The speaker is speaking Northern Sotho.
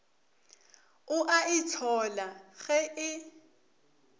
o a itshola ge e